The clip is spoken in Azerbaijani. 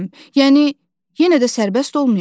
Yəni yenə də sərbəst olmayacam.